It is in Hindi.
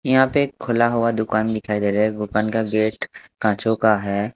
यहाँ पे एक खुला हुवा दुकान दिखाई दे रहा हैं दुकान का गेट कांचों का हैं।